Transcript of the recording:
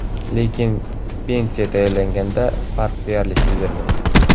Lekin pensiya tayinlanganda farq deyarli sezilmaydi.